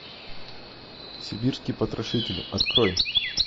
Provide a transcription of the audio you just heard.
сибирский потрошитель открой